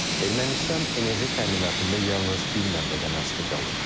Ermənistan enerji təminatında yalnız bir mənbədən asılı qalıb.